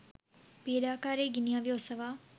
පීඩාකාරි ගිනි අවි ඔසවා